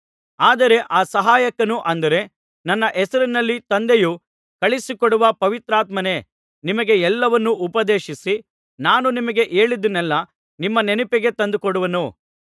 ಆದರೆ ಆ ಸಹಾಯಕನು ಅಂದರೆ ನನ್ನ ಹೆಸರಿನಲ್ಲಿ ತಂದೆಯು ಕಳುಹಿಸಿಕೊಡುವ ಪವಿತ್ರಾತ್ಮನೇ ನಿಮಗೆ ಎಲ್ಲವನ್ನು ಉಪದೇಶಿಸಿ ನಾನು ನಿಮಗೆ ಹೇಳಿದ್ದನೆಲ್ಲಾ ನಿಮ್ಮ ನೆನಪಿಗೆ ತಂದುಕೊಡುವನು